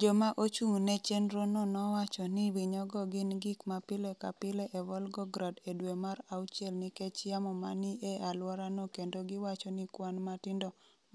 Joma ochung’ ne chenrono nowacho ni winyogo gin “gik ma pile ka pile e Volgograd e dwe mar auchiel nikech yamo ma ni e alworano” kendo giwacho ni “kwan matindo